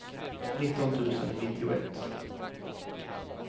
nitton tusen nittioett